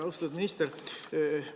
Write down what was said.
Austatud minister!